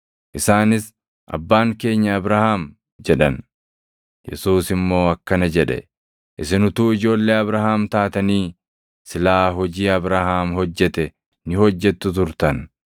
Isaanis, “Abbaan keenya Abrahaam” jedhan. Yesuus immoo akkana jedhe; “Isin utuu ijoollee Abrahaam taatanii silaa hojii Abrahaam hojjete ni hojjettu turtan.